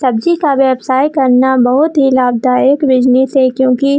सब्जी का व्यवसाय करना बहोत ही लाभदायक बिज़नेस है क्यूंकि --